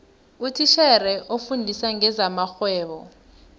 utitjhere ofundisa ngezamarhwebo